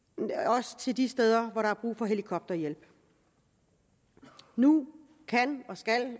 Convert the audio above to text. også til de steder hvor der er brug for helikopterhjælp nu kan